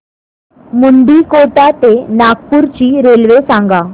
मुंडीकोटा ते नागपूर ची रेल्वे सांगा